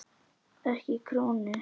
EKKI KRÓNU?